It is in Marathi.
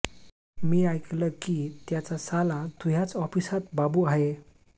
मी आयकलं की त्याचा साला तुह्याच ऑफिसात बाबू हाये